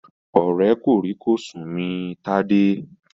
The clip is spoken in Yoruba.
Ọ̀rẹ́ kòrí-kòsùn mi Tádé.